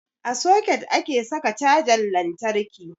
A soket ake saka cajan lantarki.